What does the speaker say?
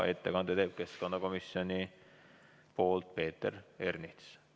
Ettekande teeb keskkonnakomisjoni nimel Peeter Ernits.